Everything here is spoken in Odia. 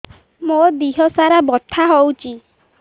ମୋ ଦିହସାରା ବଥା ହଉଚି